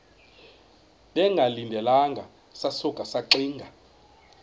bengalindelanga sasuka saxinga